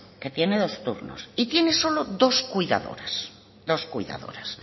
que tiene dos turnos y tiene solo dos cuidadoras